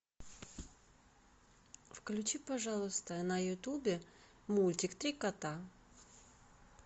включи пожалуйста на ютубе мультик три кота